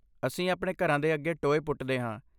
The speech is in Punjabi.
ਅਸੀਂ ਆਪਣੇ ਘਰਾਂ ਦੇ ਅੱਗੇ ਟੋਏ ਪੁੱਟਦੇ ਹਾਂ।